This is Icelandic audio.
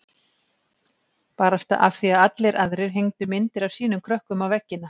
Barasta af því að allir aðrir hengdu myndir af sínum krökkum á veggina.